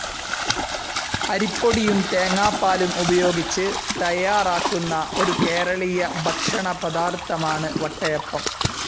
അരിപ്പൊടിയും, തേങ്ങാപ്പാലും ഉപയോഗിച്ച് തയ്യാറാക്കുന്ന, ഒരു കേരളീയ ഭക്ഷണപദാർത്ഥമാണ് വട്ടയപ്പം.